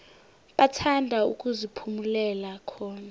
bathanda ukuziphumulela khona